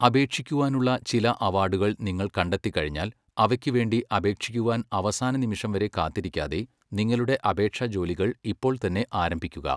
അപേക്ഷിക്കുവാനുള്ള ചില അവാർഡുകൾ നിങ്ങൾ കണ്ടെത്തി കഴിഞ്ഞാൽ, അവയ്ക്കുവേണ്ടി അപേക്ഷിക്കുവാൻ അവസാന നിമിഷം വരെ കാത്തിരിക്കാതെ, നിങ്ങളുടെ അപേക്ഷാജോലികൾ ഇപ്പോൾത്തന്നെ ആരംഭിക്കുക.